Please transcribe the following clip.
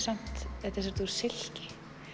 silki